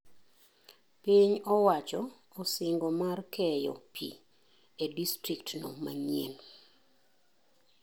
Piny owacho osingo mar keyo pii e distrikt no manyein.